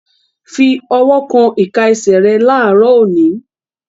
Fi ọwọ́ kan ìka ẹsẹ̀ rẹ láàárọ̀ òní!